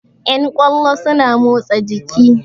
Yan ƙwallo suna motsa jiki